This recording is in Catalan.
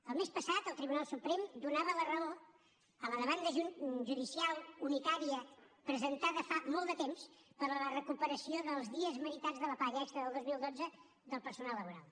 el mes passat el tribunal suprem donava la raó a la demanda judicial unitària presentada fa molt de temps per a la recuperació dels dies meritats de la paga extra del dos mil dotze del personal laboral